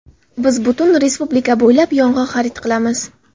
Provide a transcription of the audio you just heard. Biz butun respublika bo‘ylab yong‘oq xarid qilamiz.